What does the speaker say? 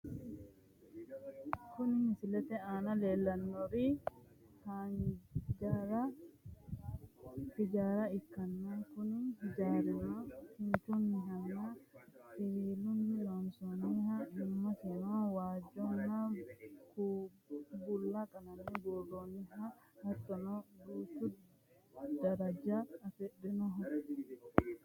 Kuni misilete aana leellanni noorichi hijaara ikkanna kuni hijaarino kinchunninna siwiilunni loonsooonniho, iimasino waajjonna bulla qalame buurroonni hattono duucha daraja afirinoho.